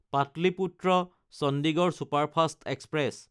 Pataliputra Chandigarh superfast express